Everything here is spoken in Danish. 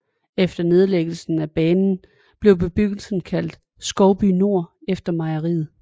Efter nedlæggelsen af banen blev bebyggelsen kaldt Skovby Nord efter mejeriet